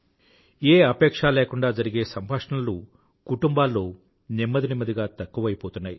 ఏ అపేక్షా లేకుండా జరిపే సంభాషణలు కుటుంబాల్లో నెమ్మది నెమ్మదిగా తక్కువైపోతున్నాయి